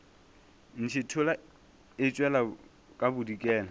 ntšhithola e tšwela ka bodikela